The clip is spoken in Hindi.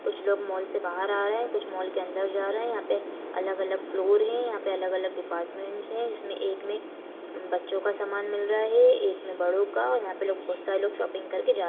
कुछ लोग मॉल से बाहर आ रहे है कुछ मॉल के अंदर जा रहे हैं यहाँ पे अलग-अलग फ्लोर है यहां पे अलग-अलग डीपार्टमेंट्स है जिसमे एक मे अम बच्चों का समान मिल रहा है एक मे बड़ों का और यहाँ पे लोग बहोत सारे लोग शॉपिंग करके जा --